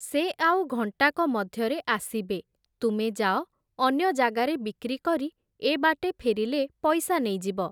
ସେ ଆଉ ଘଂଟାକ ମଧ୍ୟରେ ଆସିବେ, ତୁମେ ଯାଅ, ଅନ୍ୟ ଜାଗାରେ ବିକ୍ରୀ କରି ଏ ବାଟେ ଫେରିଲେ ପଇସା ନେଇଯିବ ।